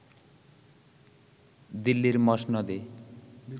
দিল্লির মসনদে